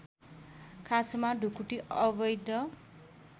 खासमा ढुकुटी अवैध